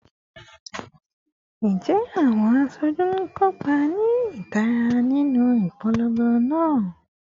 Njẹ awọn aṣoju n kopa ni itara ninu ipolongo naa?